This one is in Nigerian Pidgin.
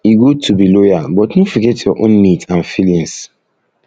e good to be loyal but no forget your own needs and feelings